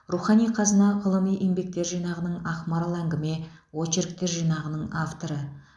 рухани қазына ғылыми еңбектер жинағының ақмарал әңгіме очерктер жинағының авторы